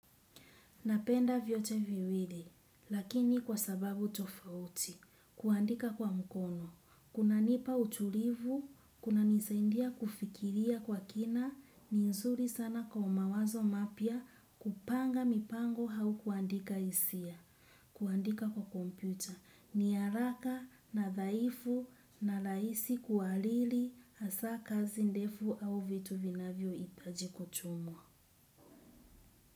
Napenda vyote viwili, lakini kwa sababu tofauti, kuandika kwa mkono, kuna nipa utulivu, kuna nisaindia kufikiria kwa kina, ni nzuri sana kwa mawazo mapya kupanga mipango hau kuandika hisia, kuandika kwa kompyuta, ni haraka, nadhaifu, na laisi kualili, asa kazi ndefu au vitu vinavyo itaji kutumwa.